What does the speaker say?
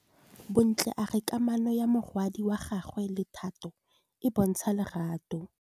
Bontle a re kamanô ya morwadi wa gagwe le Thato e bontsha lerato.